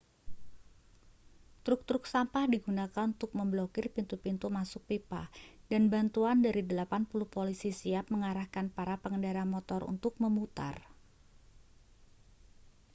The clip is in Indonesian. truk-truk sampah digunakan untuk memblokir pintu-pintu masuk pipa dan bantuan dari 80 polisi siap mengarahkan para pengendara motor untuk memutar